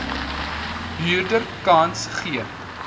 huurder kans gee